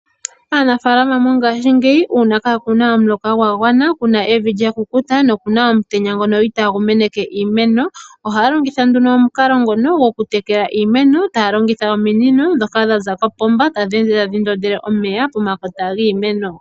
Aanafaalama mongaashingeyi uuna kaa kuna omuloka gwa gwana, evi lyakukuta nokuna omutenya ngono itaa gu meneke iimeno ohaya longitha nduno omukalo gokutekela iimeno taya longitha ominino dhoka dhaza kopomba dho tadhi ndondele nee omeya pomakota geemeno.